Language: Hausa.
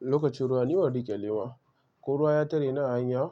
Lokacin ruwa ni ban rike lema, ko ruwa ya tare ni ahanya,